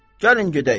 Gəlin gedək.